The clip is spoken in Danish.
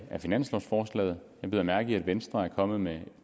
af finanslovforslaget jeg bider mærke i at venstre er kommet med